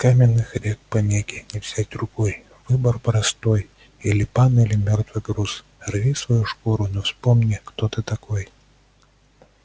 каменных рек пангеи не взять рукой выбор простой или пан или мёртвый груз рви свою шкуру но вспомни кто ты такой